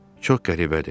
Çox qəribədir.